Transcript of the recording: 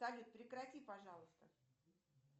салют прекрати пожалуйста